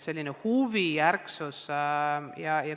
Huvi ja ärksus on olemas.